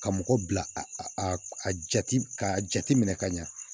Ka mɔgɔ bila a jate ka jate minɛ ka ɲa